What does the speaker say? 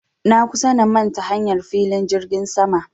Na kusa na manta hanyar filin jirgin sama